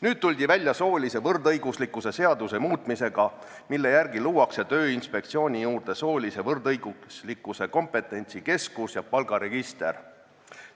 Nüüd tuldi välja soolise võrdõiguslikkuse seaduse muutmise eelnõuga, mille järgi luuakse Tööinspektsiooni juurde soolise võrdõiguslikkuse kompetentsikeskus ja palgaregister.